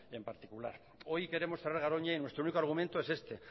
en particular hoy queremos cerrar garoña y nuestro único argumento es este